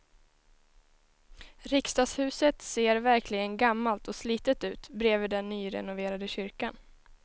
Riksdagshuset ser verkligen gammalt och slitet ut bredvid den nyrenoverade kyrkan.